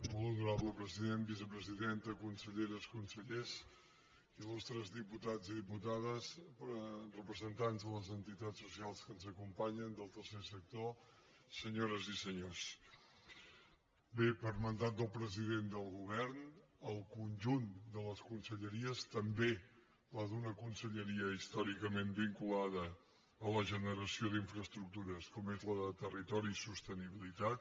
molt honorable president vicepresidenta conselleres consellers il·lustres diputats i diputades representants de les entitats socials que ens acompanyen del tercer sector senyores i senyors bé per mandat del president del govern el conjunt de les conselleries també una conselleria històricament vinculada a la generació d’infraestructures com és la de territori i sostenibilitat